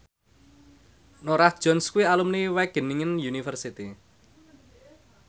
Norah Jones kuwi alumni Wageningen University